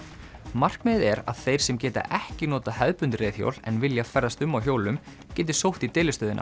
markmiðið er að þeir sem geta ekki notað hefðbundin reiðhjól en vilja ferðast um á hjólum geti sótt í